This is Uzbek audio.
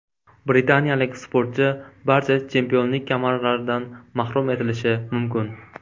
Britaniyalik sportchi barcha chempionlik kamarlaridan mahrum etilishi mumkin.